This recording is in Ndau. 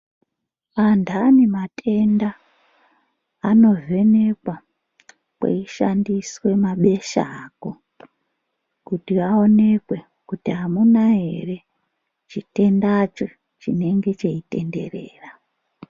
Vandani matenda anovhenekwa kweyi shandiswa mabesha ako kuti aonekwe kuti hamuna here chitenda cho chinenge chiyitenderera.